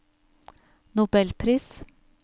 nobelpris